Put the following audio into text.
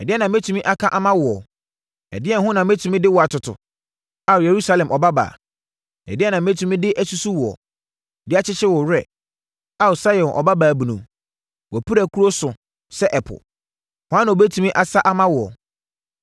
Ɛdeɛn na mɛtumi aka ama woɔ? Ɛdeɛn ho na mɛtumi de wo atoto, Ao, Yerusalem Ɔbabaa? Ɛdeɛn na mɛtumi de asusu woɔ, de akyekyere wo werɛ, Ao, Sion Ɔbabaa Bunu? Wʼapirakuro so sɛ ɛpo. Hwan na ɔbɛtumi asa ama woɔ?